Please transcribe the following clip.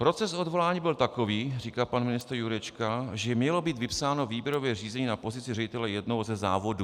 "Proces odvolání byl takový, říká pan ministr Jurečka, že mělo být vypsáno výběrové řízení na pozici ředitele jednoho ze závodů." -